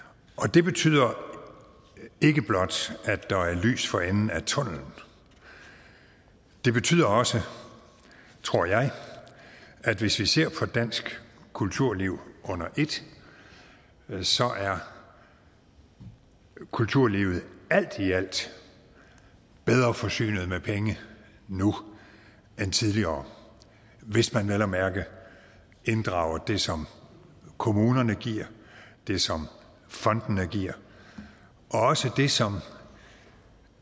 det betyder ikke blot at der er lys for enden af tunnellen det betyder også tror jeg at hvis vi ser på dansk kulturliv under et er kulturlivet alt i alt bedre forsynet med penge nu end tidligere hvis man vel at mærke inddrager det som kommunerne giver det som fondene giver og også det som